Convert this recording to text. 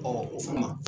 o fana